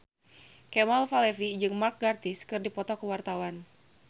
Kemal Palevi jeung Mark Gatiss keur dipoto ku wartawan